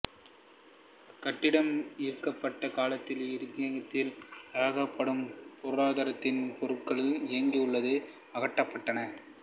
இக்கட்டிடம் விற்கப்பட்ட காலத்தில் இங்கிருந்த தளவாடங்களும் பொருத்தியிருந்த பொருட்களும் இங்கிருந்து அகற்றப்பட்டன